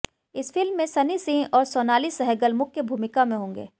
इस फिल्म में सनी सिंह और सोनाली सहगल मुख्य भूमिका में होंगे